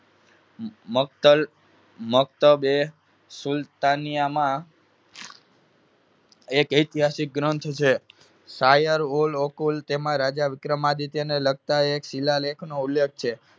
મક્તલ મકતબે સુલ્તાનીયામાં એક ઐતિહાસિક ગ્રંથ છે. શાયર ઓલઓકુલ તેમાં રાજા વિક્રમાદિત્યને લગતા એક શીલાલેખનો ઉલ્લેખ છે.